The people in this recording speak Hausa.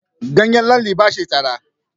Ganyen lalle ba shi da tsada.